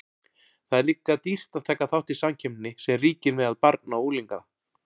Það er líka dýrt að taka þátt í samkeppninni sem ríkir meðal barna og unglinga.